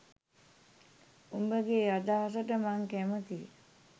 උඹගෙ අදහසට මං කැමතියි.